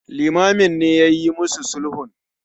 Limamin ne yayi mu su sulhun.